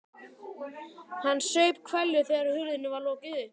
Hann saup hveljur þegar hurðinni var lokið upp.